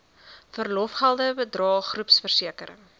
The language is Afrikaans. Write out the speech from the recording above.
verlofgelde bydrae groepversekering